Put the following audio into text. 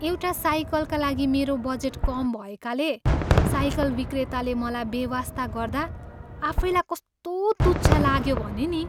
एउटा साइकलका लागि मेरो बजेट कम भएकाले साइकल विक्रेताले मलाई बेवास्ता गर्दा आफैलाई कस्तो तुच्छ लाग्यो भने नि।